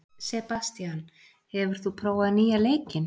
Sebastian, hefur þú prófað nýja leikinn?